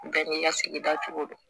Bɛɛ n'i ka sigida cogo do